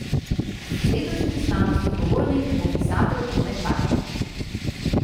Letošnji slavnostni govornik bo pisatelj Tone Partjič.